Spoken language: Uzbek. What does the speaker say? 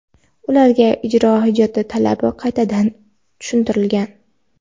ularga ijro hujjati talabi qaytadan tushuntirilgan.